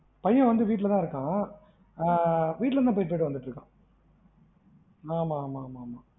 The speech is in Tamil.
பையன் வந்து வீட்டுல தான் இருக்கான். ஆஹ் வீட்டுல இருந்து தான் போயிட்டு வந்துட்டு இருக்கான். ஆமா ஆமா